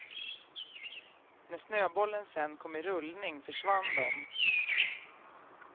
När snöbollen sedan kom i rullning försvann de.